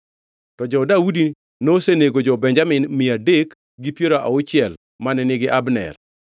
To jo-Daudi nosenego jo-Benjamin mia adek gi piero auchiel mane nigi Abner.